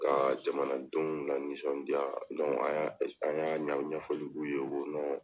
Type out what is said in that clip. Ka jamanadenw lanisɔndiya an y'a ɲɛfɔ dugu ye ko